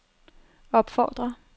opfordrer